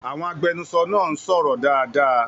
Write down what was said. Àwọn agbẹnusọ náà ń sọ̀rọ̀ dáadáa.